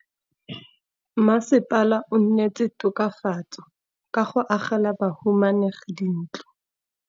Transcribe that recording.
Mmasepala o neetse tokafatsô ka go agela bahumanegi dintlo.